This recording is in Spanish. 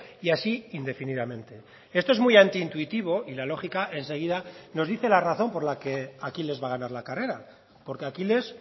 y así indefinidamente esto es muy anti intuitivo y la lógica enseguida nos dice la razón por la que aquiles va a ganar la carrera porque aquiles